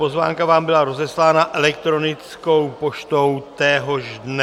Pozvánka vám byla rozeslána elektronickou poštou téhož dne.